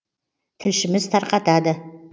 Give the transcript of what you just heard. тілшіміз тарқатады